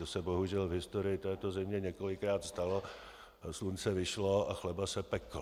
To se bohužel v historii této země několikrát stalo, slunce vyšlo a chleba se pekl.